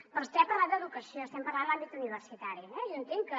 perquè vostè ha parlat d’educació i estem parlant de l’àmbit universitari eh jo entenc que